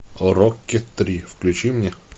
рокки три включи мне